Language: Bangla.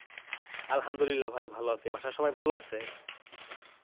আলহামদুলিল্লাহ ভাই ভালো আছি। বাসার সবাই ভালো আছে?